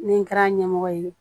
Ni n kɛra ɲɛmɔgɔ ye